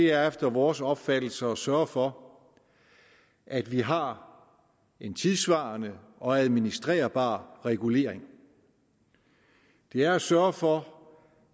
er efter vores opfattelse at sørge for at vi har en tidssvarende og administrerbar regulering det er at sørge for